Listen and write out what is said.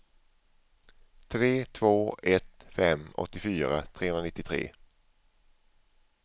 tre två ett fem åttiofyra trehundranittiotre